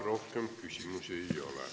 Rohkem küsimusi ei ole.